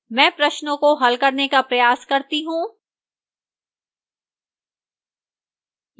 मैं प्रश्नों को हल करने का प्रयास करता हूँ